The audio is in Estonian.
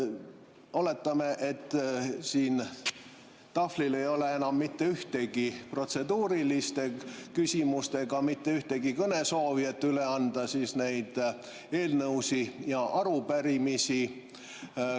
Oletame, et siin tahvlil ei ole enam mitte ühtegi protseduurilist küsimust ega mitte ühtegi kõnesoovi, et üle anda eelnõusid ja arupärimisi.